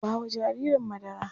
Ba wa jaririn madara!